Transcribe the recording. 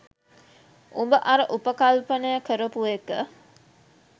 උඹ අර උපකල්පනය කරපු එක